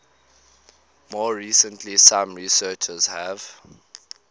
more recently some researchers have